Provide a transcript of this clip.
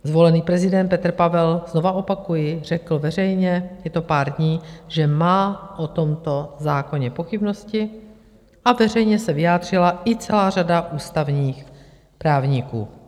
Zvolený prezident Petr Pavel, znovu opakuji, řekl veřejně, je to pár dní, že má o tomto zákoně pochybnosti, a veřejně se vyjádřila i celá řada ústavních právníků.